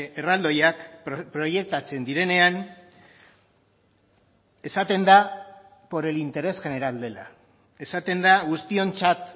erraldoiak proiektatzen direnean esaten da por el interés general dela esaten da guztiontzat